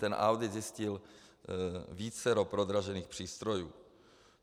Ten audit zjistil vícero prodražených přístrojů.